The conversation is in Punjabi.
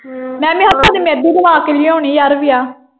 ਮੈਂ ਵੀ ਹੱਥਾਂ ਤੇ ਮਹਿੰਦੀ ਲਵਾ ਕੇ ਲਿਆਉਣੀ ਯਾਰ ਵਿਆਹ।